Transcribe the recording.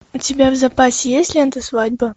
у тебя в запасе есть лента свадьба